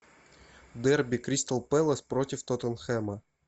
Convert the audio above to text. дерби кристал пэлас против тоттенхэма